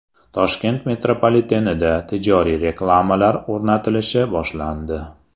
Toshkent metropolitenida tijoriy reklamalar o‘rnatilishi boshlandi.